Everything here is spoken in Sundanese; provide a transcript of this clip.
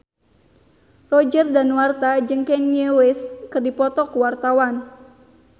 Roger Danuarta jeung Kanye West keur dipoto ku wartawan